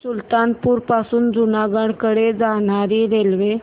सुल्तानपुर पासून जुनागढ कडे जाणारी रेल्वे